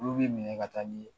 Olu bin minɛ ka taa ni ye